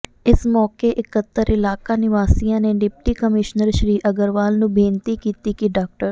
ਇਸ ਮੌਕੇ ਇਕੱਤਰ ਇਲਾਕਾ ਨਿਵਾਸੀਆਂ ਨੇ ਡਿਪਟੀ ਕਮਿਸ਼ਨਰ ਸ੍ਰੀ ਅਗਰਵਾਲ ਨੂੰ ਬੇਨਤੀ ਕੀਤੀ ਕਿ ਡਾ